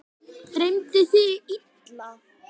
Dreymdi þig illa?